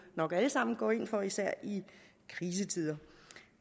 nok alle sammen går ind for især i krisetider